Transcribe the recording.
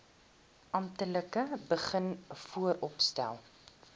amptelik begin vooropstel